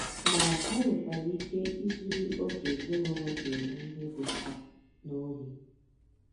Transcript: Ma, ha nwekwara ike izuru oge ezinụlọ ji eme ihe dị mkpa n’ohi.